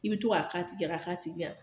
I bi to ka k'a tigi kan, ka k'a tigi kan.